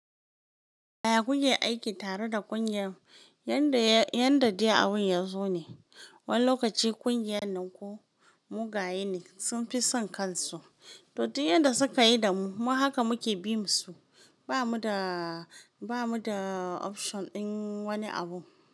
Aya kuke aiki tare da ƙungiyar, yadda yadda dai abun ya zo ne. Wani lokaci ƙungiyar nan ko mugaye ne sun fi son kansu. To duk yadda suka yi da mu mu haka muke bi musu. Ba mu da, ba mu da option din wani abu.